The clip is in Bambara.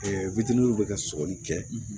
bɛ ka sɔgɔli kɛ